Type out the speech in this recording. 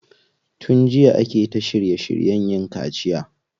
Tun jiya ake ta shirye shiryen yin kaciya.